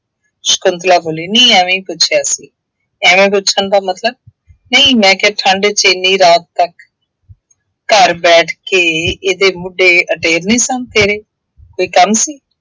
ਸ਼ੰਕੁਤਲਾ ਬੋਲੀ ਨਹੀਂ ਐਵੇਂ ਹੀ ਪੁੱਛਿਆ ਸੀ। ਐਵੇਂ ਪੁੱਛਣ ਦਾ ਮਤਲਬ, ਨਹੀਂ ਮੈਂ ਕਿਹਾ ਠੰਢ ਚ ਐਨੀ ਰਾਤ ਤੱਕ, ਘਰ ਬੈਠ ਕੇ ਇਹਦੇ ਮੋਢੇ ਅਡੇਰ ਨਹੀਂ ਸਨ ਤੇਰੇ, ਕੋਈ ਕੰਮ ਸੀ।